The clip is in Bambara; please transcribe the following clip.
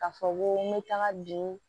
K'a fɔ ko n bɛ taga bi